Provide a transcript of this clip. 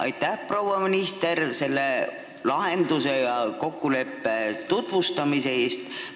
Aitäh, proua minister, selle lahenduse ja kokkuleppe tutvustamise eest!